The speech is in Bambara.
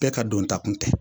Bɛɛ ka don ta kun tɛ